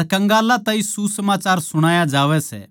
अर कंगालां ताहीं सुसमाचार सुणाया जावै सै